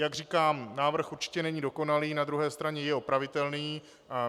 Jak říkám, návrh určitě není dokonalý, na druhé straně je opravitelný.